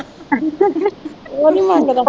ਉਹ ਨੀ ਮੰਗਦਾ